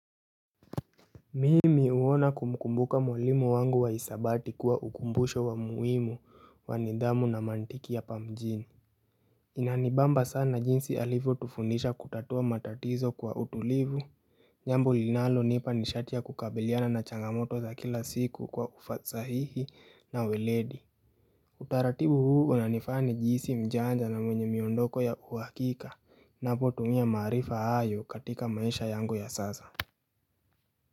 Mimi huwa nakumkumbuka mwalimu wangu wa hisabati kuwa ukumbusho wa muhimu wa nidhamu na mantiki ya pa mjini Inanibamba sana jinsi alivyotufundisha kutatua matatizo kwa utulivu jambo linalonipa nishati la kukabiliana na changamoto za kila siku kwa ufasahihi na weledi Utaratibu huu unanifanya nihijisi mjanja na mwenye miondoko ya uhakika ninapotumia maarifa hayo katika maisha yangu ya sasa.